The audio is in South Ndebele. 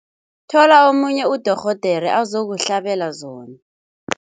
Thola omunye udorhodere azokuhlabela zona.